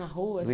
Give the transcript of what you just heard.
Na rua, assim?